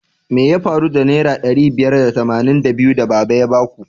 Me ya faru da naira ɗari biyar da tamanin da biyu da baba ya baku?